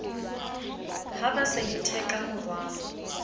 ha ba sa itheka morwalo